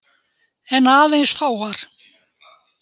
En aðeins fáar.